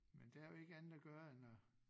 Men der jo ikke andet at gøre end at